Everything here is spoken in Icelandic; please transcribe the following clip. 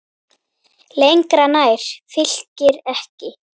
Lengra nær Fylkir ekki.